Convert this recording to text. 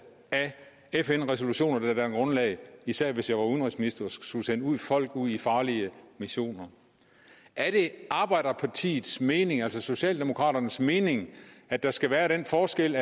af fn resolutioner der danner grundlag for især hvis jeg var udenrigsminister og skulle sende folk ud i farlige missioner er det arbejderpartiets mening altså socialdemokraternes mening at der skal være den forskel